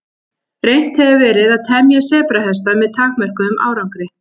Reynt hefur verið að temja sebrahesta með takmörkuðum árangri.